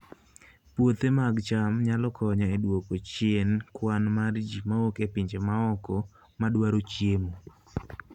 Puothe mag cham nyalo konyo e duoko chien kwan mar ji mawuok e pinje maoko madwaro chiemo